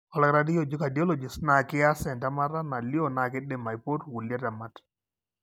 ore oldakitari looji cardiologist na kias entemata nalio na kidim aipotu kulie temat.